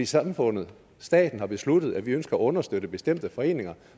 samfundet staten har besluttet at vi ønsker at understøtte bestemte foreninger